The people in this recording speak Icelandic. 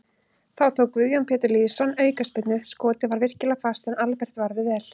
Þá tók Guðjón Pétur Lýðsson aukaspyrnu, skotið var virkilega fast en Albert varði vel.